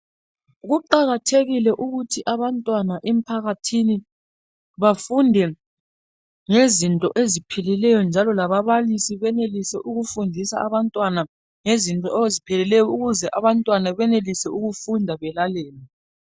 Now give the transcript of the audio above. Kuqakathekile ukuthi abantwana emphakathini bafunde ngezinto eziphilileyo njalo lababalisi benelise ukufundisa abantwana ngezinto eziphilileyo ukuze abantwana benelise ukufunda belalele.